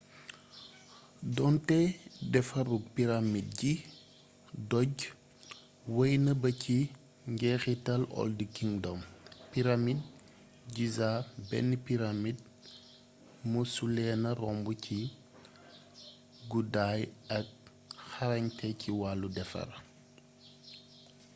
donte defarug pyramid ci doj wey na baa ci njeexital old kingdom pyramidi giza benn pyramd mësuleena romb ci guddaay ak xarañte ci wàllu defar